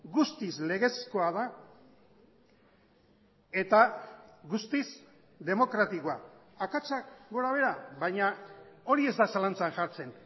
guztiz legezkoa da eta guztiz demokratikoa akatsak gora behera baina hori ez da zalantzan jartzen